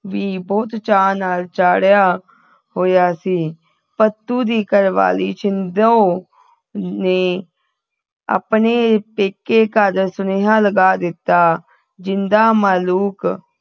ਉਹਨੂੰ ਵੀ ਬਹੁਤ ਚਾਅ ਚੜ੍ਹਿਆ ਹੋਇਆ ਸੀ ਭੱਤੂ ਦੀ ਘਰਵਾਲੀ ਛਿੰਦੋ ਨੇ ਆਪਣੇ ਪੇਕੇ ਘਰ ਸੁਨੇਹਾ ਲਗਾ ਦਿੱਤਾ ਜਿੰਦਾ ਮਾਲੂਕ